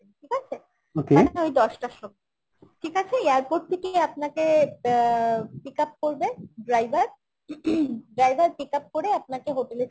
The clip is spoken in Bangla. ঠিক আছে? মানে তো ওই দশটার সময় ঠিক আছে airport থেকেই আপনাকে অ্যাঁ pickup করবে driver driver ing pickup করে আপনাকে hotel এ ছেড়ে দেবে